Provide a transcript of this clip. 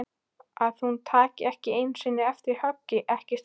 Að hún taki ekki einu sinni eftir höggi, ekki strax.